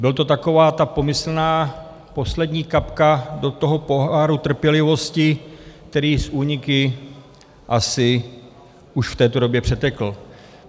Byla to taková ta pomyslná poslední kapka do toho poháru trpělivosti, který s úniky asi už v této době přetekl.